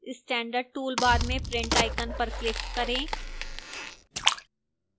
standard toolbar में print icon पर click करें